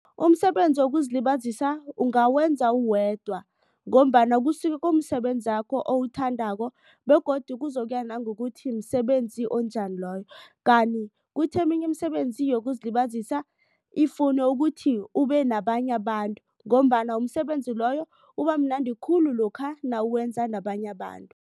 Umsebenzi wokuzilibazisa ungawenza uwedwa. Ngombana kusuke kumsebenzakho owuthandako begodu kuzokuya nangokuthi msebenzi onjani loyo. Kanti kuthi eminye imisebenzi yokuzilibazisa ifune ukuthi ube nabanye abantu ngombana umsebenzi loyo ubamnandi khulu lokha nawenza nabanye abantu.